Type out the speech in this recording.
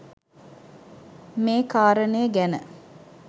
මේ කාරණය ගැන